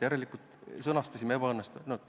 Järelikult sõnastasime muudatuse ebaõnnestunult.